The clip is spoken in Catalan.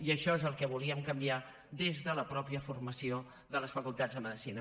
i això és el que volíem canviar des de la mateixa formació de les facultats de medicina